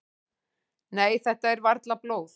"""Nei, þetta er varla blóð."""